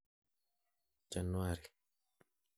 January.